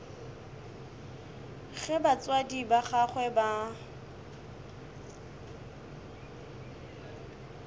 ge batswadi ba gagwe ba